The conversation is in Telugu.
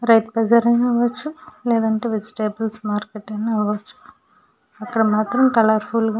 రైతు బజార్ అయిన అవ్వచ్చు లేదా వెజిటబుల్ మార్కెట్ అయిన అవ్వచ్చు అక్కడ మాత్రం కళారఫుల్గా --